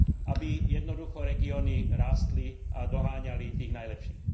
aby jednoducho regióny rástli a doháňali tých najlepších.